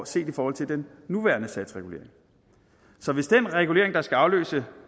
set i forhold til den nuværende satsregulering så hvis den regulering der skal afløse